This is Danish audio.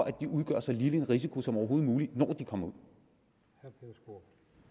at de udgør så lille en risiko som overhovedet muligt når de kommer ud